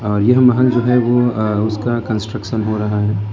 और यह महल जो है वो अ उसका कंस्ट्रक्शन हो रहा है।